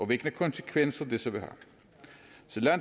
hvilke konsekvenser det så vil